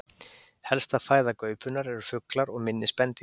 Helsta fæða gaupunnar eru fuglar og minni spendýr.